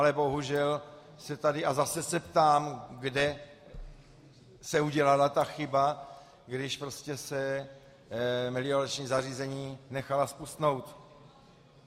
Ale bohužel se tady - a zase se ptám, kde se udělala ta chyba, když se meliorační zařízení nechala zpustnout?